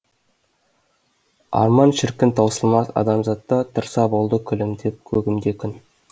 арман шіркін таусылмас адамзатта тұрса болды күлімдеп көгімде күн